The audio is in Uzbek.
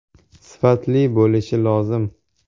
Sifatli bo‘lishi lozim.